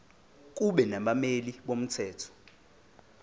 kube nabameli bomthetho